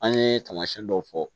An ye taamasiyɛn dɔw fɔ